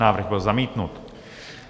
Návrh byl zamítnut.